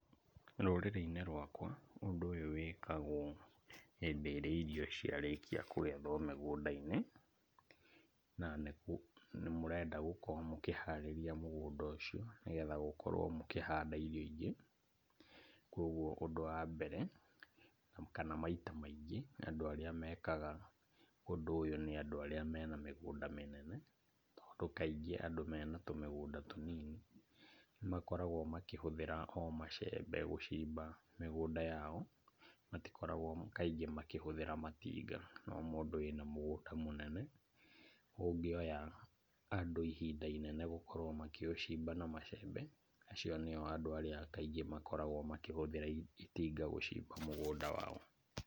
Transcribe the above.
Rũrĩrĩ-inĩ rwakwa, ũndũ ũyũ wĩkagwo hĩndĩ ĩrĩa irio ciarĩkia kũgethwo mĩgũnda-inĩ, na nĩ mũrenda gũkorwo mũkĩharĩria mũgũnda ũcio, nĩgetha mũkorwo mũkĩhanda irio ingĩ , kũgwo ũndũ wa mbere , kana maita maingĩ andũ arĩa mekaga ũndũ ũyũ nĩ andũ arĩa mena mĩgũnda mĩnene, tondũ kaingĩ andũ mena tũmĩgũnda tũnini, nĩmakoragwo makĩhũthĩra o macembe gũcimba mĩgũnda yao, matikoragwo kaingĩ makĩhũthĩra matinga, no mũndũ wĩna mũgũnda mũnene ũngĩoya andũ ihinda inene gũkorwo makĩũcimba na macembe, acio nĩo kaingĩ makoragwo makĩhũthĩra itinga gũcimba mũgũnda wao.